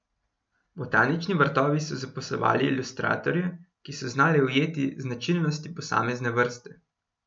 Botanični vrtovi so zaposlovali ilustratorje, ki so znali ujeti značilnosti posamezne vrste.